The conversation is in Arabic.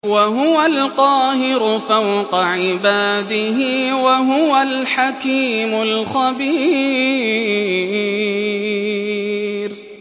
وَهُوَ الْقَاهِرُ فَوْقَ عِبَادِهِ ۚ وَهُوَ الْحَكِيمُ الْخَبِيرُ